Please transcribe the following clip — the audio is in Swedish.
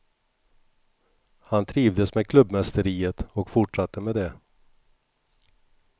Han trivdes med klubbmästeriet och fortsatte med det.